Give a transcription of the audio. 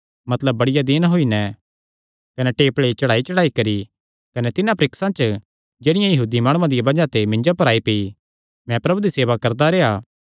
मतलब बड़िया दीन होई नैं कने टेपल़े चढ़ाईचढ़ाई करी कने तिन्हां परीक्षां च जेह्ड़ियां यहूदी माणुआं दिया बज़ाह ते मिन्जो पर आई पेई मैं प्रभु दी सेवा करदा रेह्आ